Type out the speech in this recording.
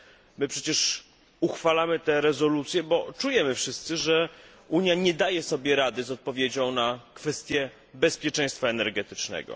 My przecież uchwalamy rezolucje, bo czujemy wszyscy, że Unia nie daje sobie rady z odpowiedzią na kwestie bezpieczeństwa energetycznego.